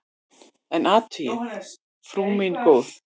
En athugið, frú mín góð!